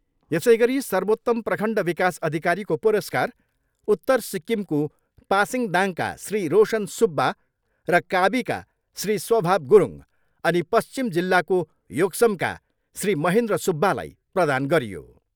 यसै गरी सर्वोत्तम प्रखण्ड विकास अधिकारीको पुरस्कार उत्तर सिक्किमको पासिङदाङका श्री रोशन सुब्बा र काबीका श्री स्वभाव गुरुङ अनि पश्चिम जिल्लाको योक्समका श्री महेन्द्र सुब्बालाई प्रदान गरियो।